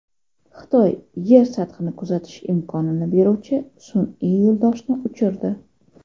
Xitoy Yer sathini kuzatish imkonini beruvchi sun’iy yo‘ldoshni uchirdi.